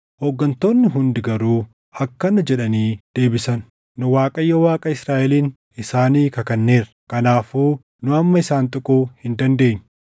hooggantoonni hundi garuu akkana jedhanii deebisan; “Nu Waaqayyo Waaqa Israaʼeliin isaanii kakanneerra; kanaafuu nu amma isaan tuquu hin dandeenyu.